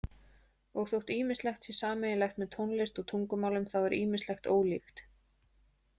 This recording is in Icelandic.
Og þótt ýmislegt sé sameiginlegt með tónlist og tungumálum þá er ýmislegt ólíkt.